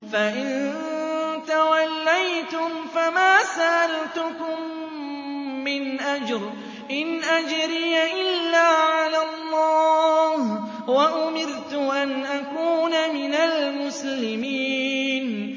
فَإِن تَوَلَّيْتُمْ فَمَا سَأَلْتُكُم مِّنْ أَجْرٍ ۖ إِنْ أَجْرِيَ إِلَّا عَلَى اللَّهِ ۖ وَأُمِرْتُ أَنْ أَكُونَ مِنَ الْمُسْلِمِينَ